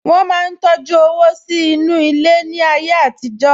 Wọ́n máa ń tọjú owó sínú ilẹ̀ láyé àtijọ́